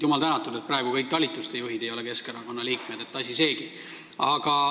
Jumal tänatud, et praegu ei ole kõik talituste juhid Keskerakonna liikmed – asi seegi.